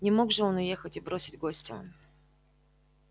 не мог же он уехать и бросить гостя